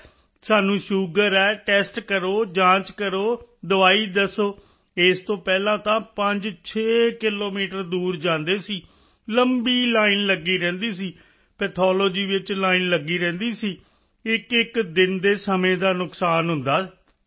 ਹੈ ਨੂੰ ਸ਼ੂਗਰ ਹੈ ਟੈਸਟ ਕਰੋ ਜਾਂਚ ਕਰੋ ਦਵਾਈ ਦੱਸੋ ਇਸ ਤੋਂ ਪਹਿਲਾਂ ਤਾਂ 56 ਕਿਲੋਮੀਟਰ ਦੂਰ ਜਾਂਦੇ ਸੀ ਲੰਬੀ ਲਾਈਨ ਲਗੀ ਰਹਿੰਦੀ ਸੀ ਪੈਥੋਲੋਜੀ ਵਿੱਚ ਲਾਈਨ ਲਗੀ ਰਹਿੰਦੀ ਸੀ ਇੱਕਇੱਕ ਦਿਨ ਦੇ ਸਮੇਂ ਦਾ ਨੁਕਸਾਨ ਹੁੰਦਾ ਹੈ